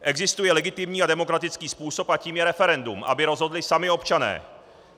Existuje legitimní a demokratický způsob a tím je referendum, aby rozhodli sami občané.